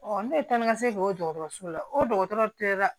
ne ye taa ni ka segin k'o dɔgɔtɔrɔso la o dɔgɔtɔrɔ tɛ dɛ